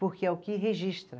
Porque é o que registra.